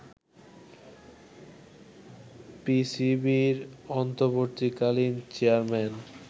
পিসিবির অন্তর্বর্তীকালীন চেয়ারম্যান